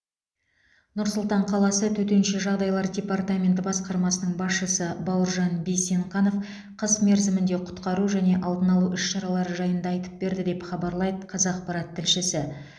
нұр сұлтан қаласы төтенше жағдайлар департаменті басқармасының басшысы бауыржан бейсенқанов қыс мерзімінде құтқару және алдын алу іс шаралары жайында айтып берді деп хабарлайды қазақпарат тілшісі